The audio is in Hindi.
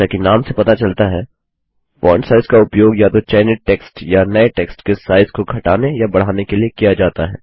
जैसा कि नाम से पता चलता है फोंट साइज का उपयोग या तो चयनित टेक्स्ट या नये टेक्स्ट के साइज को घटाने या बढ़ाने के लिए किया जाता है